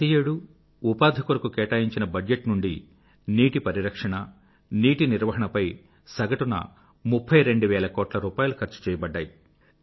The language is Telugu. ప్రతి ఏడూ ఉపాధి కొరకు కేటాయించిన బడ్జెట్ నుండి నీటి పరిరక్షణ నీటి నిర్వహణపై సగటున 32 వేల కోట్ల రూపాయలు ఖర్చు చేయబడ్డాయి